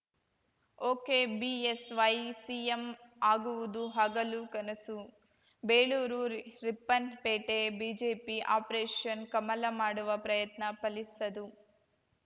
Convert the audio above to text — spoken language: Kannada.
ಒಕೆಬಿಎಸ್‌ವೈ ಸಿಎಂ ಆಗುವುದು ಹಗಲು ಕನಸು ಬೇಳೂರು ರಿ ರಿಪ್ಪನ್‌ಪೇಟೆ ಬಿಜೆಪಿ ಅಪರೇಷನ್‌ ಕಮಲ ಮಾಡುವ ಪ್ರಯತ್ನ ಫಲಿಸದು